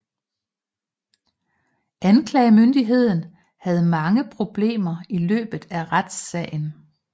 Anklagemyndigheden havde mange problemer i løbet af retssagen